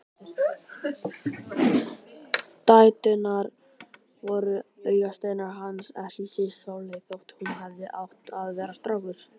Dæturnar voru augasteinar hans, ekki síst Sóley þótt hún hefði átt að vera strákur.